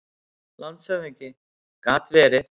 LANDSHÖFÐINGI: Gat verið.